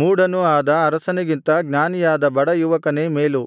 ಮೂಢನೂ ಆದ ಅರಸನಿಗಿಂತ ಜ್ಞಾನಿಯಾದ ಬಡ ಯುವಕನೇ ಮೇಲು